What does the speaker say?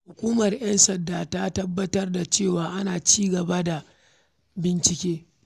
Hukumar ‘yan sanda ta tabbatar da cewa ana ci gaba da bincike.